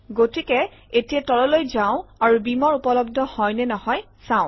গতিকে এতিয়া তললৈ যাওঁ আৰু বীমাৰ উপলব্ধ হয় নে নহয় চাওঁ